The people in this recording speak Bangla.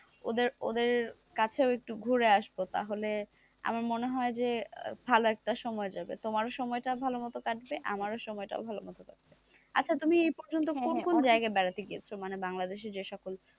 ওদের ওদের কাছে একটু ঘুরে আসবো তাহলে আমার মনে হয় যে ভালো একটা সময় যাবে তোমারও সময়টা ভালোমতো কাটবে, আমারও সময়টা ভালোমতো কাটবে, আচ্ছা তুমি এ পর্যন্ত কোন কোন জায়গা বেড়াতে গেছো মানে বাংলাদেশে যে সকল,